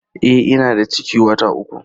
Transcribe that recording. E, ina da ciki wata uku.